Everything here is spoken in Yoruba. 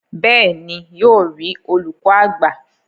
bẹ́ẹ̀ni, yóò rí olùkọ àgbà.